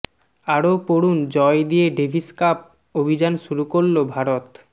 আরও পড়ুন জয় দিয়ে ডেভিস কাপ অভিযান শুরু করল ভারত